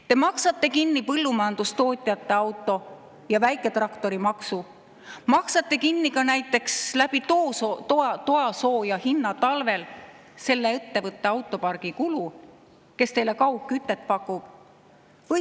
Te maksate kinni põllumajandustootjate automaksu ja väiketraktori maksu, maksate kinni ka näiteks toasooja hinna kaudu talvel selle ettevõtte autopargi kulu, kes teile kaugkütet pakub.